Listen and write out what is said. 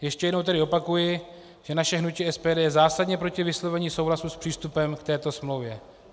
Ještě jednou tedy opakuji, že naše hnutí SPD je zásadně proti vyslovení souhlasu s přístupem k této smlouvě.